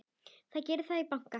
Það geri þeir í banka.